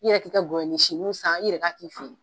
I yɛrɛ k'i ka gɔyɔnin sinuw san i yɛrɛ ka k'i fe yen.